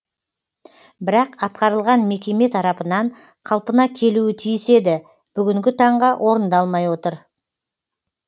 бірақ атқарылған мекеме тарапынан қалпына келуі тиіс еді бүгінгі таңға орындалмай отыр